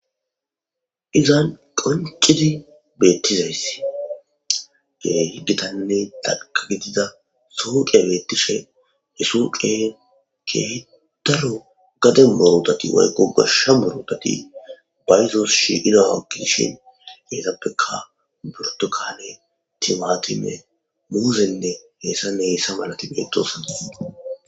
izan qoncidi beettizayssi gehiggitanne taka gidida sooqeya beettishe hesu qe gedaro gade mowodati waykko goshsha burodati bayzos shi idawakkidishin geetappeka burtu kane timatime muuseynne heessan heessa malati bedosana